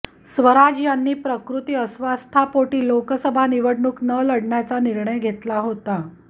स्वराज यांनी प्रकृती अस्वास्थापोटी लोकसभा निवडणूक न लढण्याचा निर्णय घेतला होता